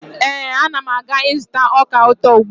Ee, Ana m aga ịzụta ọka ụtọ ugbua.